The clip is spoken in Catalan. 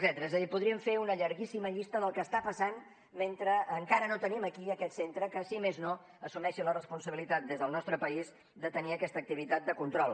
és a dir podríem fer una llarguíssima llista del que està passant mentre encara no tenim aquí aquest centre que si més no assumeixi la responsabilitat des del nostre país de tenir aquesta activitat de control